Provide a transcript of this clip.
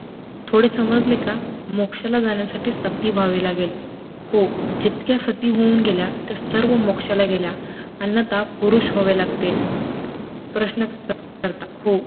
थोडे समजलं का, मोक्षाला जाण्यासाठी सती ह्वावे लागेल, हो जितक्या सती होउन गेल्या त्या सर्व मोक्षाला गेल्या, अन्यथा पुरुष लागते, प्रश्न हो